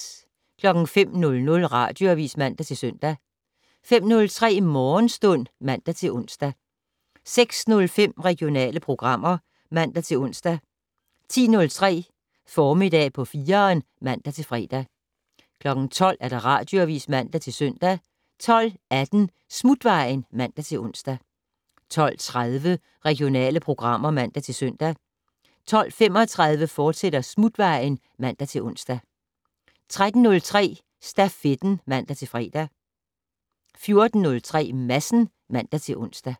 05:00: Radioavis (man-søn) 05:03: Morgenstund (man-ons) 06:05: Regionale programmer (man-ons) 10:03: Formiddag på 4'eren (man-fre) 12:00: Radioavis (man-søn) 12:18: Smutvejen (man-ons) 12:30: Regionale programmer (man-søn) 12:35: Smutvejen, fortsat (man-ons) 13:03: Stafetten (man-fre) 14:03: Madsen (man-ons)